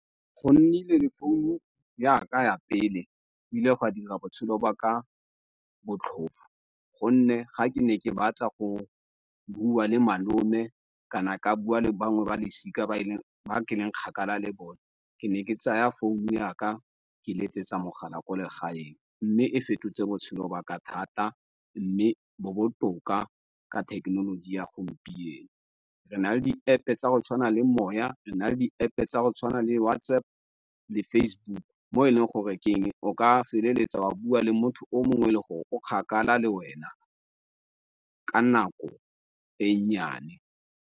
Go nnile le founu ya ka ya pele ile go ka dira botshelo ba ka botlhofu gonne ga ke ne ke batla go bua le malome kana ka bua le bangwe ba losika ba ke leng kgakala le bone ke ne ke tsaya founu yaka ke le tsa mogala ko legaeng, mme e fetotse botshelo ba ka thata mme bo botoka ka thekenoloji ya gompieno. Re nale di-App tsa go tshwana le Moya re na le App tsa go tshwana le WhatsApp le Facebook mo e leng gore ke eng o ka feleletsa wa bua le motho o mongwe le gore o kgakala le wena ka nako e nnyane.